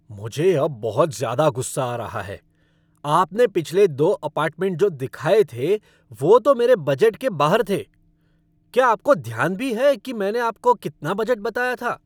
मुझे अब बहुत ज़्यादा गुस्सा आ रहा है। आपने पिछले दो अपार्टमेंट जो दिखाए थे, वो तो मेरे बजट के बाहर थे। क्या आपको ध्यान भी है कि मैंने आपको कितना बजट बताया था?